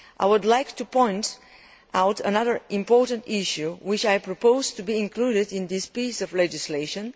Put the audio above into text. I would like to point out another important issue which I propose should be included in this piece of legislation.